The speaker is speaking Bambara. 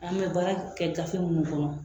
An bɛ baara kɛ gafe minnu kɔnɔ